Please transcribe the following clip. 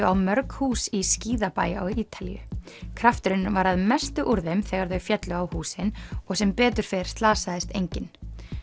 á mörg hús í skíðabæ á Ítalíu krafturinn var að mestu úr þeim þegar þau féllu á húsin og sem betur fer slasaðist enginn